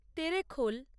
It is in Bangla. তেরেখোল